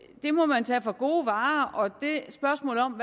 det må man tage for gode varer og spørgsmålet om